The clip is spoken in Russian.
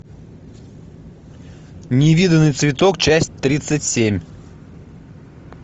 невиданный цветок часть тридцать семь